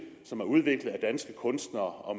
som er udviklet af danske kunstnere og